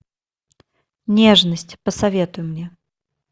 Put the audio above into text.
нежность посоветуй мне